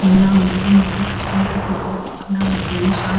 ఇలా ఉండటం వల్ల కస్టమర్లకు ఇబ్బంది లేకుండా ఉంటుంది షాప్ --